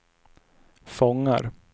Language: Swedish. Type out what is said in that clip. fångar